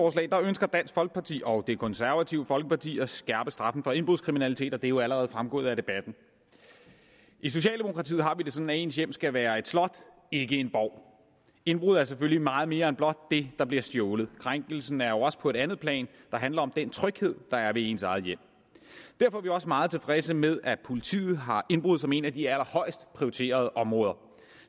ønsker dansk folkeparti og det konservative folkeparti at skærpe straffen for indbrudskriminalitet og det er jo allerede fremgået af debatten i socialdemokratiet har vi det sådan at ens hjem skal være et slot ikke en borg indbrud er selvfølgelig meget mere end blot det der bliver stjålet krænkelsen er jo også på et andet plan der handler om den tryghed der er ved ens eget hjem derfor er vi også meget tilfredse med at politiet har indbrud som et af de allerhøjest prioriterede områder